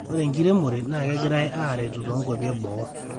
ore enkiremore naa kegerai aretu toonkuapi eboo